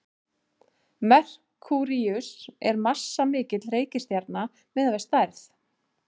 merkúríus er massamikil reikistjarna miðað við stærð